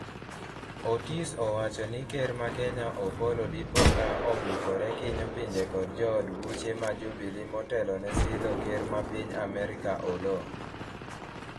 otis owacho ni Ker ma kenya Opollo dipo ka obukore kinyo pinje kod jood buche ma Jubilee motelo ne sidho ker ma piny Amerka Oloo